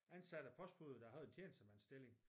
Ansatte i postbudet som havde tjenestemandsstilling